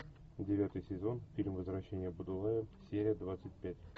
девятый сезон фильм возвращение будулая серия двадцать пять